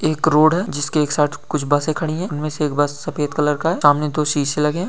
एक रोड है जिसके एक साथ कुछ बातें खड़ी है इनमें से एक बार सफेद कलर का है। सामने तो शीशे लगे--